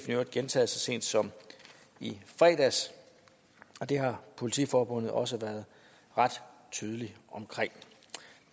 i øvrigt gentaget så sent som i fredags og det har politiforbundet også været ret tydelige omkring